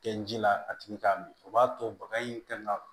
Kɛ ji la a tigi k'a min o b'a to baga in tɛ nga